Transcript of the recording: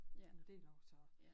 Men det længe siden